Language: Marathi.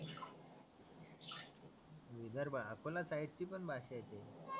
विदर्भ आपल्या साईडची पण भाषा येते